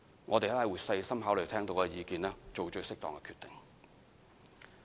我們會細心考慮聽到的意見，做最適當的決定。